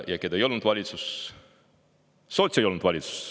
Ja keda ei olnud valitsuses: sotse ei olnud valitsuses.